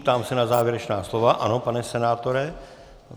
Ptám se na závěrečná slova - ano, pane senátore.